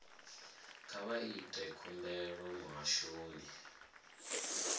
kha vha ite khumbelo muhashoni